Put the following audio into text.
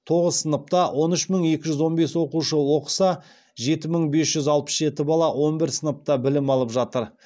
тоғыз сыныпта он үш мың екі жүз он бес оқушы оқыса жеті мың бес жүз алпыс жеті бала он бір сыныпта білім алып жатыр